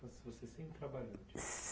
Você, você sempre trabalhou?